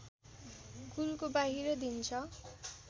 कुलको बाहिर दिन्छ